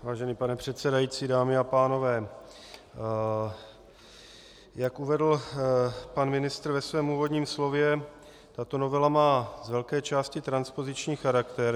Vážený pane předsedající, dámy a pánové, jak uvedl pan ministr ve svém úvodním slově, tato novela má z velké části transpoziční charakter.